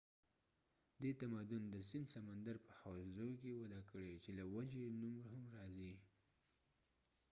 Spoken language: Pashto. دې تمدن د سند سمندر په حوزو کې وده کړي چې له وجې یې نوم هم راځي